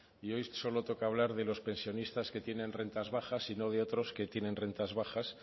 y hoy solo toca hablar de los pensionistas que tienen rentas bajas y no de otros que tienen rentas bajas